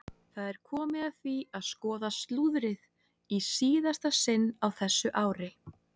Það er komið að því að skoða slúðrið í síðasta sinn á þessu ári!